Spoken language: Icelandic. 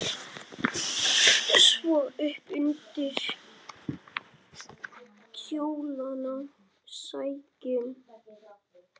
Svo upp undir kjólana sækinn!